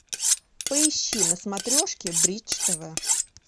поищи на смотрешке бридж тв